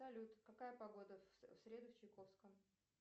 салют какая погода в среду в чайковском